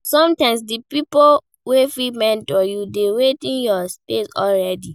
Sometimes di pipo wey fit mentor you dey within your space already